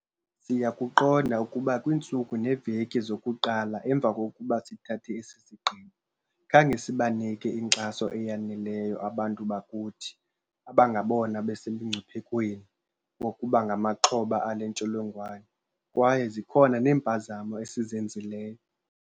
Siyakuqonda ukuba kwiintsuku neeveki zokuqala emva kokuba sithathe esi sigqibo, khange sibanike inkxaso eyaneleyo abantu bakuthi abangabona basemngciphekweni wokuba ngamaxhoba ale ntsholongwane, kwaye zikhona neempazamo esizenzileyo.